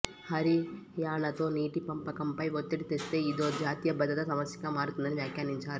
హరియాణాతో నీటి పంపకంపై ఒత్తిడి తెస్తే ఇదో జాతీయ భద్రతా సమస్యగా మారుతుందని వ్యాఖ్యానించారు